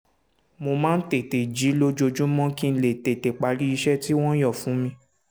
mo máa ń tètè jí lójoojúmọ́ kí n lè tètè parí iṣẹ́ tí wọ́n yàn fún mi